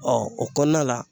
o kɔnɔna la